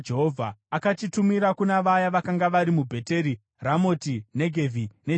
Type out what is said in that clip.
Akachitumira kuna vaya vakanga vari muBheteri, Ramoti Negevhi neJariri;